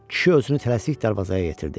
Kişi özünü tələsik darvazaya yetirdi.